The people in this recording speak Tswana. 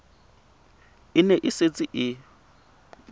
e ne e setse e